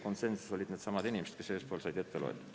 Poolt hääletasid needsamad inimesed, kes enne said ette loetud.